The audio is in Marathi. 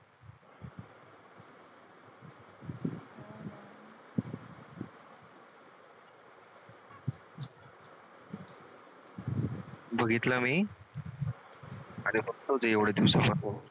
बघितलं मी आणि बघतोच आहे एवढ्या दिवसापासून